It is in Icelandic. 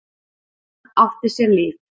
Hann átti sér líf.